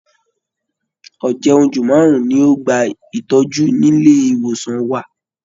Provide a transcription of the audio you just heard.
Ọ̀jẹun-jù márùn-ún ni ó gba ìtọ́jú nílé ìwòsàn wa